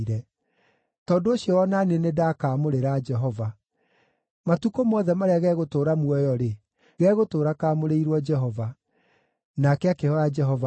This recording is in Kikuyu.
Tondũ ũcio o na niĩ nĩndakaamũrĩra Jehova. Matukũ mothe marĩa gegũtũũra muoyo-rĩ, gegũtũũra kaamũrĩirwo Jehova.” Nake akĩhooya Jehova arĩ o hau.